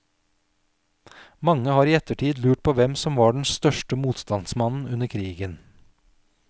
Mange har i ettertid lurt på hvem som var den største motstandsmannen under krigen.